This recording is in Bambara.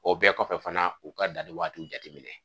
O bɛɛ kɔfɛ fana u ka danni waatiw jateminɛ